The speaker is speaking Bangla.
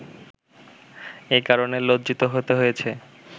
এ কারণে লজ্জিত হতে হয়েছে